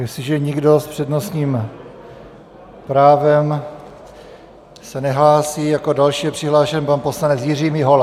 Jestliže nikdo s přednostním právem se nehlásí, jako další je přihlášen pan poslanec Jiří Mihola.